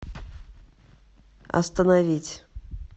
остановить